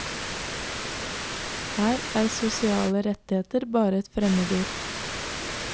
Her er sosiale rettigheter bare et fremmedord.